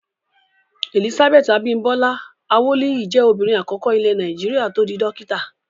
Elizabeth Abimbola Awoliyi jẹ́ obìnrin àkọ́kọ́ ilẹ̀ Nàìjíríà tó di dókítà.